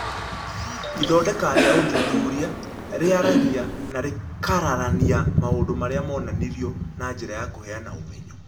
Ithondeka rĩa ũthuthuria, rĩaragia na rĩkararania maũndũ marĩa monanirio na njĩra ya kũheana ũmenyo.